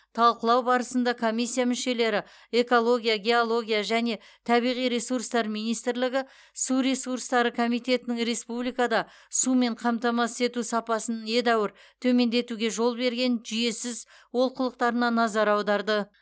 талқылау барысында комиссия мүшелері экология геология және табиғи ресурстар министрлігі су ресурстары комитетінің республикада сумен қамтамасыз ету сапасын едәуір төмендетуге жол берген жүйесіз олқылықтарына назар аударды